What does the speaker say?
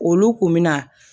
Olu kun bɛ na